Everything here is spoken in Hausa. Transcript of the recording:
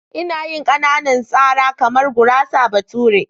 Ina yin ƙananan sara kamar gurasar bature.